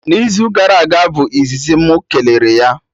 Na izu gara aga bụ izizi mụ kelere ya